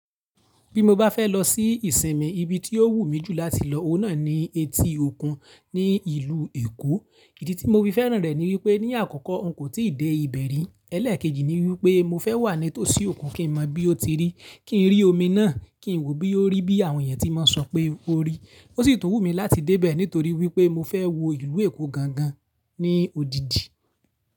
Bí mo bá fẹ́ lọ sí ìsinmi, ibi tí ó wù mí jù láti lọ, òun náà ni etí òkun ní ìlú Èkó. Ìdí tí mo fi fẹ́ràn rẹ̀ ni wípé ní àkọ́kọ́ òun kò tí ì dé ibẹ̀ rí. Ẹ̀lẹ́ẹ̀kejì ni wípé mo fẹ́ wà nítòsí òkun kí n mọ bí ó ti rí, kí n rí omi náà, kí n wò bí ó rí bí àwọn èèyàn tí máa ń sọ pé ó rí. Ó sì tún wù mí láti dé bẹ̀ nítorí wípé mo fẹ́ wo ìlú Èkó gangan ní òdìdì.